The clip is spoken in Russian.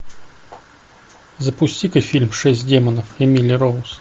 запусти ка фильм шесть демонов эмили роуз